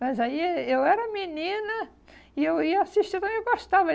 Mas aí eh eu era menina e eu ia assistindo e eu gostava.